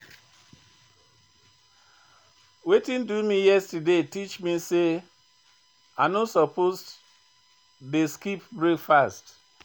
Wetin do me yesterday teach me sey I no suppose dey skip breakfast.